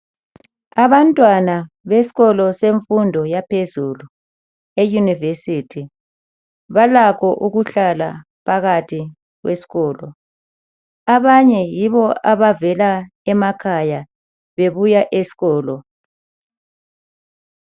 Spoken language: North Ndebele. Abantwana besikolo semfundo yaphezulu, eyunivesithi balakho ukuhlala phakathi esikolo. Abanye yibo abavela emakhaya bebuya esikolo.